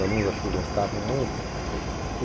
Os alunos acho que gostavam muito.